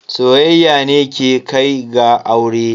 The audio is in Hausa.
Soyayya ne ke kai ga aure.